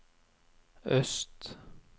øst